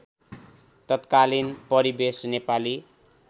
तत्कालीन परिवेश नेपाली